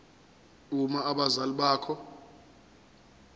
uma abazali bakho